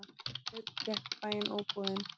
Sveinn gekk í bæinn, óboðinn.